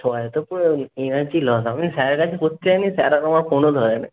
সবাই তো পুরো energy loss হবে। কি হয়েছিল? স্যারেরা কি জানিয়েছে? স্যারেরা তো আমার ফোনও ধরেনি।